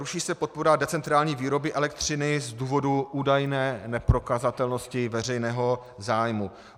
Ruší se podpora decentrální výroby elektřiny z důvodu údajné neprokazatelnosti veřejného zájmu.